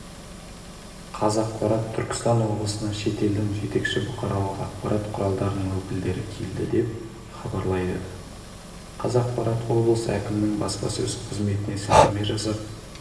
қазақпарат түркістан облысына шетелдің жетекші бұқаралық ақпарат құралдарының өкілдері келді деп хабарлайы қазақпарат облыс әкімінің баспасөз қызметіне сілтеме жасап